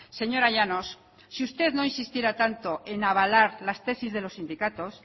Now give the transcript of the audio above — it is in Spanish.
señora llanos si usted no insistiera tanto en avalar las tesis de los sindicatos